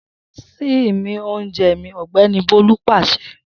Sin mi ounje mi Ogbeni Bolu pase!